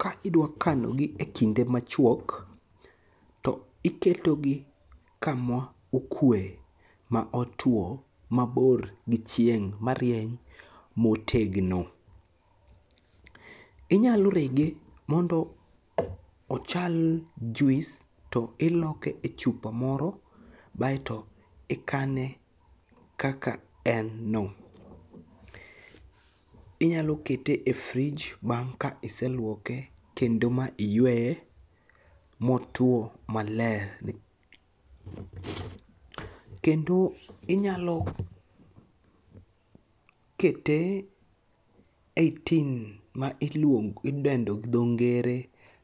Ka idwakanogi e kinde machuok to iketogi kamaokue, maotuo, mabor gi chieng' marieny motegno. Inyalo rege mondo ochal juis to iloke e chupa moro ae to ikane kaka en no.Inyalokete e frij bang' ka iseluoke kendo ma iyueye motuo maler kendo inyalo kete e tin ma idendo gi dho ngere